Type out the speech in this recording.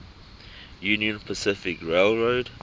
union pacific railroad